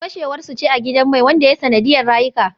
Fashewar su ce a gidan mai wanda ya yi sanadiyar rayuka